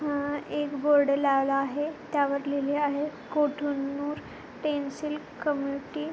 हा एक बोर्ड लावला आहे त्यावर लिहले आहे कोठनूर पेन्सिल कम्यूनिटी .